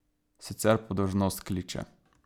Sicer pa dolžnost kliče.